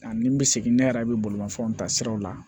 Ani n bɛ segin ne yɛrɛ bɛ bolimafɛnw ta siraw la